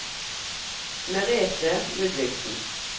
Merethe Ludvigsen